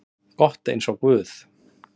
gott eins og guð.